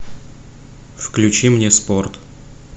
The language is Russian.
включи мне спорт